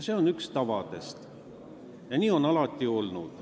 See on üks tavadest ja nii on alati olnud.